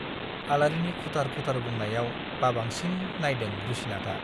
आलारिनि खुथार खुथार बुंनायाव बाबांसिन नाइदों रुसिनाथआ।